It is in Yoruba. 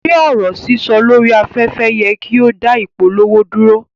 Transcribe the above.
Ṣe ọrọ sísọ lori afẹ́fẹ́ yẹ ki o da ìpolówó dúró?